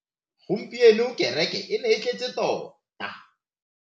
Gompieno kereke e ne e tletse tota.